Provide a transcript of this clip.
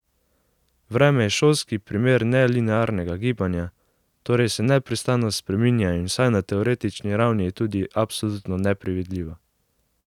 Vreme je šolski primer nelinearnega gibanja, torej se neprestano spreminja in vsaj na teoretični ravni je tudi absolutno nepredvidljivo.